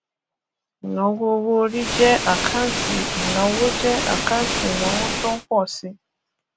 ìnáwó owó orí jẹ àkáǹtì ìnáwó jẹ àkáǹtì ìnáwó tó ń pọ si